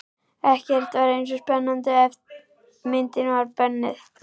Ekkert var eins spennandi og ef myndin var bönnuð.